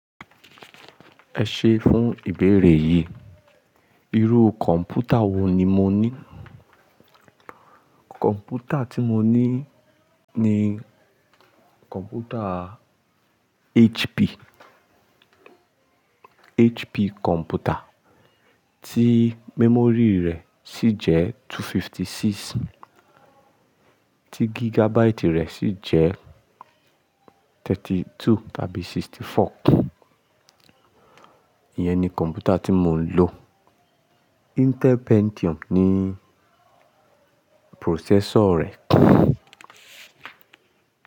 Ẹ ṣe fún ìbéèrè yìí. Irú kọ̀ǹpútà wo ni mo ní? Kọ̀ǹpútà tí mo ní ni kọ̀ǹpútà HP, HP kọ̀ǹpútà tí memory rẹ̀ sì jẹ́ 256, tí gigabyte rẹ̀ sì jẹ́ 32 tàbí 64. Iyẹn ni kọ̀ǹpútà tí mò ń lò. Intel Pentium ni processor rẹ̀.